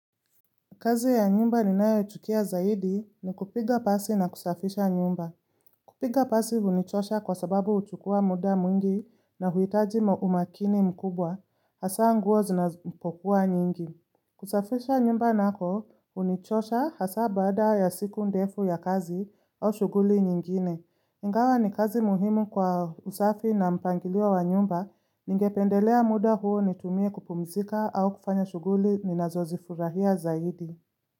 Kazi ya nyumba ninayo chukia zaidi ni kupiga pasi na kusafisha nyumba. Kupiga pasi hunichosha kwa sababu huchukua muda mwingi na huitaji umakini mkubwa, hasa nguo zinapokua nyingi. Kusafisha nyumba nako, hunichosha hasa baada ya siku ndefu ya kazi au shuguli nyingine. Ingawa ni kazi muhimu kwa usafi na mpangilio wa nyumba, ningependelea muda huo nitumie kupumzika au kufanya shuguli ninazozifurahia zaidi.